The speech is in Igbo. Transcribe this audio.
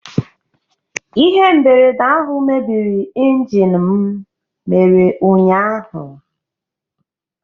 Ihe mberede ahụ mebiri injin m mere ụnyaahụ